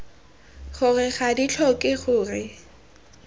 gore ga di tlhoke gore